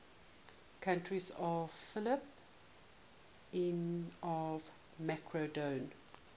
courtiers of philip ii of macedon